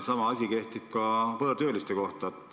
Sama asi kehtib ka võõrtööliste kohta.